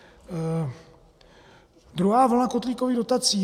Druhá vlna kotlíkových dotací.